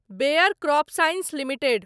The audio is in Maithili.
bear CropScience limited